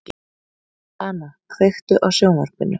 Dana, kveiktu á sjónvarpinu.